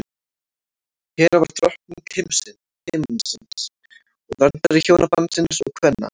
hera var drottning himinsins og verndari hjónabandsins og kvenna